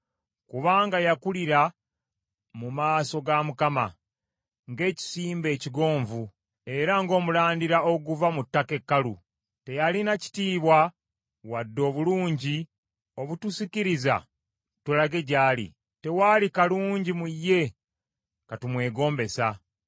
Kubanga yakulira mu maaso ga Mukama ng’ekisimbe ekigonvu era ng’omulandira oguva mu ttaka ekkalu. Teyalina kitiibwa wadde obulungi obutusikiriza tulage gy’ali; tewaali kalungi mu ye katumwegombesa.